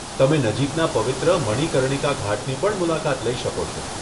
તમે નજીકના પવિત્ર મણિકર્ણિકા ઘાટની પણ મુલાકાત લઈ શકો છો.